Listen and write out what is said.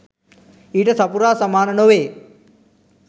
ඊට සපුරා සමාන නොවේ